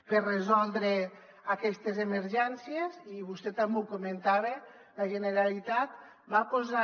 per resoldre aquestes emergències i vostè també ho comentava la generalitat va posant